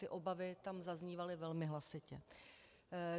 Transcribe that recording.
Ty obavy tam zaznívaly velmi hlasitě.